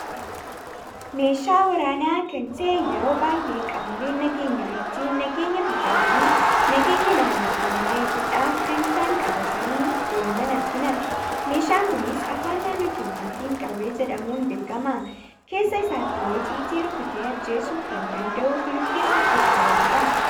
Meeshaa waraana kan ta'e yeroo baay'ee qaamooleen nageenya ittin nageenya biyyaa fi nageenya naannoo keenyaa eeguudhaf kan isaan qabatani deeman argina. Meeshaan kunis afaan naannoo keenyaatin qawwee jedhamuudhan beekama. keessa isaattilee xiyyiiti rukutee ajjeessu kan danda'u kan of keessatti qabatudha.